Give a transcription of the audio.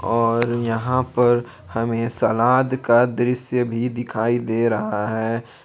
और यहां पर हमें सलाद का दृश्य भी दिखाई दे रहा है।